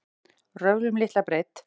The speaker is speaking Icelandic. Röfl um litla breidd